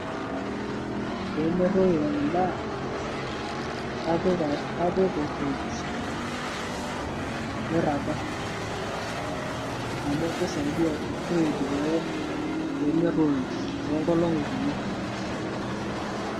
Pee merroyo endaa naa kapik a kapik orfirij meirraga amu keisaidia orfirij pee merroyo toong'olong'i kumok